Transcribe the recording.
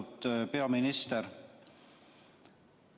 Austatud peaminister!